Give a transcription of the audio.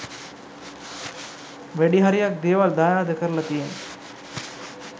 වැඩි හරියක් දේවල් දායාද කරල තියෙන්නෙ